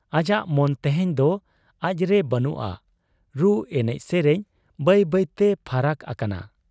ᱟᱡᱟᱜ ᱢᱚᱱ ᱛᱮᱦᱮᱧ ᱫᱚ ᱟᱡ ᱨᱮ ᱵᱟᱹᱱᱩᱜ ᱟ ᱾ ᱨᱩ ᱮᱱᱮᱡ ᱥᱮᱨᱮᱧ ᱵᱟᱹᱭ ᱵᱟᱹᱭᱛᱮ ᱯᱷᱟᱨᱟᱠ ᱟᱠᱟᱱᱟ ᱾